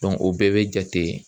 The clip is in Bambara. o bɛɛ bɛ jate